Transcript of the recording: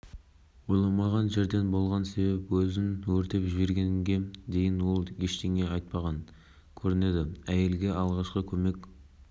бензин құйып өзін-өзі өртеп жіберген еді бақылау-тексеру пунктінің қызметкерлері дереу өртті сөндіруге көшкен оның әрекеті